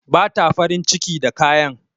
Bata farin ciki da kayan